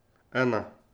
Ena.